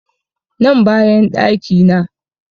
Nan bayan ɗaki na